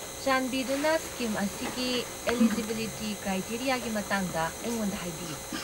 ꯆꯥꯟꯕꯤꯗꯨꯅ ꯁ꯭ꯀꯤꯝ ꯑꯁꯤꯒꯤ ꯑꯦꯂꯤꯖꯤꯕꯤꯂꯤꯇꯤ ꯀ꯭ꯔꯥꯏꯇꯦꯔꯤꯌꯥꯒꯤ ꯃꯇꯥꯡꯗ ꯑꯩꯉꯣꯟꯗ ꯍꯥꯏꯕꯤꯌꯨ꯫